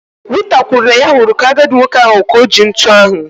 Rita kwuru na ya hụrụ ka-agadi nwoke ahụ ka oji ntụ ahụ.